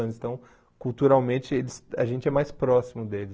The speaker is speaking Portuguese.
anos. Então, culturalmente, a gente é mais próximo deles.